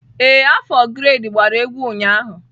Ee, afọ grade gbara egwu ụnyaahụ.